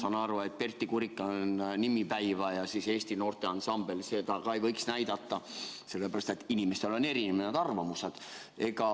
Ja ma saan aru, et ka ansamblit Pertti Kurikan Nimipäivät ja Eesti noorteansamblit ei võiks näidata, sellepärast et inimestel on erinevad arvamused.